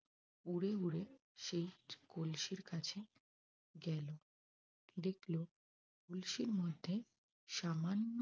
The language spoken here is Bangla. উড়ে উড়ে সেই কলসির কাছে গেল। দেখল কলসির মধ্যে সামান্য